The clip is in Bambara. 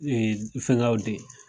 fɛnkaw de